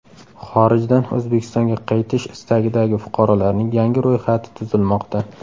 Xorijdan O‘zbekistonga qaytish istagidagi fuqarolarning yangi ro‘yxati tuzilmoqda.